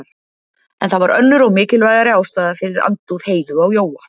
En það var önnur og mikilvægari ástæða fyrir andúð Heiðu á Jóa.